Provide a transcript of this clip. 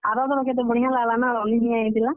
ଆର ଥର କେତେ ବଢିଆ ଲାଗ୍ ଲା ନା ରନ୍ଧନିଆ ଆଇଥିଲା।